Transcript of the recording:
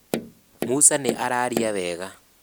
Musa nĩ araria wega